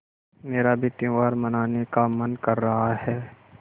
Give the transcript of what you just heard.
मेरा भी त्यौहार मनाने का मन कर रहा है